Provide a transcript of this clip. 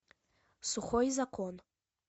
сухой закон